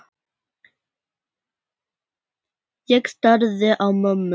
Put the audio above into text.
Ég starði á mömmu.